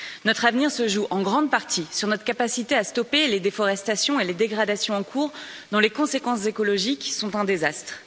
Notre avenir se joue en grande partie sur notre capacité à stopper les déforestations et les dégradations en cours, dont les conséquences écologiques sont un désastre.